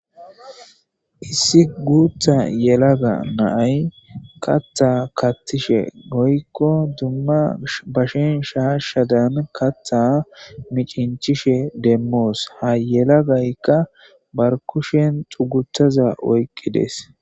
Issi guutha yelaga naay katha katishe goykko dumma bashen shaashshadan katha micinchishe demmoos ha yelagaykka barkushen xugutaza oyqqides.